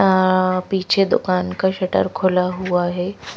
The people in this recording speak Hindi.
अः पीछे दुकान का शटर खुला हुआ है।